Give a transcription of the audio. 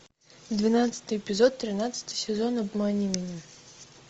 двенадцатый эпизод тринадцатый сезон обмани меня